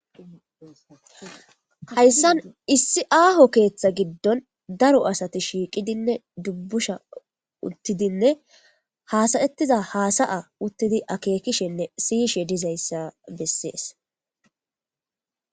hayssan issi aaho keeththa giddon daro asati shiiqidinne dubbusha uttidinne haasayettiza haasaya uttidi akeekishenne siyishe dizayssa bessees